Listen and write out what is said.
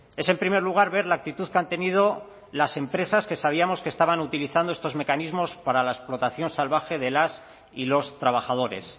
es en primer lugar ver la actitud que han tenido las empresas que sabíamos que estaban utilizando estos mecanismos para la explotación salvaje de las y los trabajadores